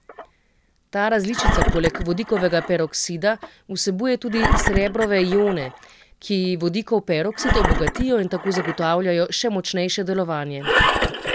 Ta različica poleg vodikovega peroksida vsebuje tudi srebrove ione, ki vodikov peroksid obogatijo in tako zagotavljajo še močnejše delovanje.